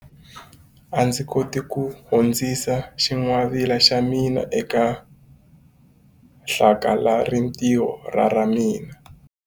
A ndzi koti ku hundzisa xingwavila xa mina eka hlakalarintiho ra ra mina.